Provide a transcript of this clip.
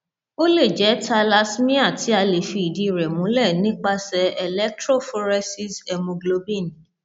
ó lè jẹ thalassemia tí a lè fi ìdí rẹ múlẹ nípasẹ electrophoresishemogblobin